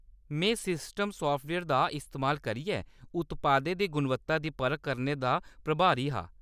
में system software दा इस्तेमाल करियै उत्पादें दी गुणवत्ता दी परख करने दा प्रभारी हा।